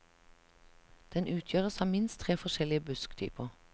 Den utgjøres av minst tre forskjellige busktyper.